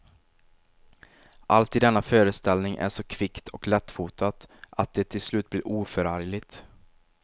Allt i denna föreställning är så kvickt och lättfotat att det till slut blir oförargligt.